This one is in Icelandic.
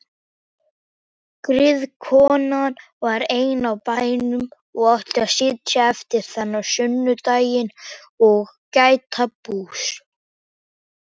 Griðkonan var ein á bænum og átti að sitja yfir þennan sunnudaginn og gæta bús.